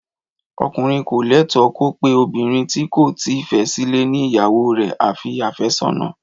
Ọkùnrin ko lẹtọ ko pẹ obinrin ti ko ti fẹ sile ni ìyàwó rẹ a fi àfẹ́sọ́nà